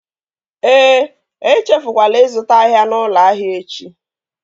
E echefukwala ịzụta ahịa n'ụlọ ahịa echi!